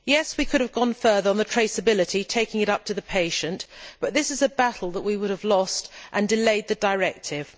Yes, we could have gone further on the traceability, taking it up to the patient, but this is a battle that we would have lost and it would have delayed the directive.